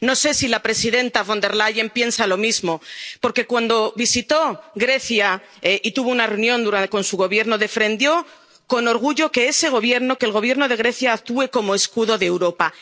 No sé si la presidenta Von der Leyen piensa lo mismo, porque, cuando visitó Grecia y tuvo una reunión con su Gobierno, defendió con orgullo que ese Gobierno, que el Gobierno de Grecia actúe como escudo de Europa.